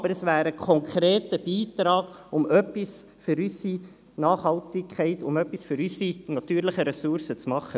Es ist aber ein konkreter Beitrag, um etwas für unsere Nachhaltigkeit, für unsere natürlichen Ressourcen zu tun.